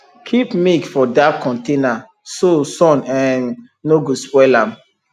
keep milk for dark container so sun um no go spoil am